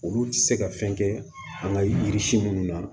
Olu tɛ se ka fɛn kɛ an ka yiri si minnu na